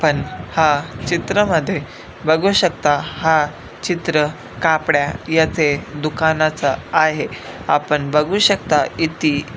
आपण हा चित्र मध्ये बघू शकता हा चित्र कापड्या याचे दुकानाचा आहे आपण बघू शकता इति--